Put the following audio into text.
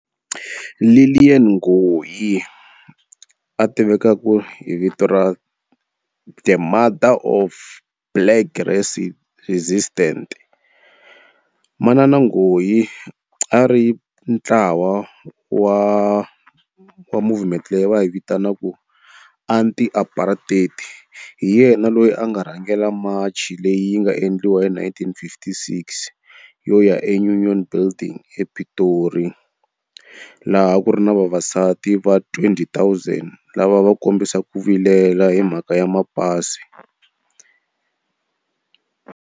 Lillian Ngoyi a tivekaka hi vito ra the mother of black resistant. Manana Ngoyi a ri ntlawa wa wa movement leyi va yi vitanaku anti-apartheid. Hi yena loyi a nga rhangela march leyi yi nga endliwa hi nineteen fifty-six yo ya eUnion Building ePitori laha a ku ri na vavasati va twenty thousand lava va kombisa ku vilela hi mhaka ya mapasi.